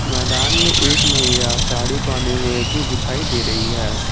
मैदान मे एक महिला साडी पहने हुए भी दिखाई दे रही है।